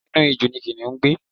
Inú ijù ni Kìnìún ń gbé.